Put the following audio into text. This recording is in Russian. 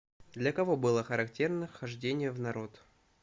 для кого было характерно хождение в народ